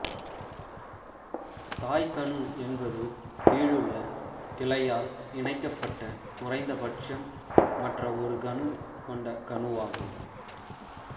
தாய் கணு என்பது கீழுள்ள கிளையால் இணைக்கப்பட்ட குறைந்தபட்சம் மற்ற ஒரு கணு கொண்ட கணுவாகும்